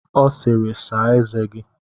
Ọ sịịrị, saa eze gi!